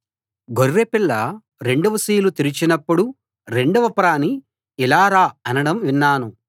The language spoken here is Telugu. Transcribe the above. గొర్రెపిల్ల రెండవ సీలు తెరచినప్పుడు రెండవ ప్రాణి ఇలా రా అనడం విన్నాను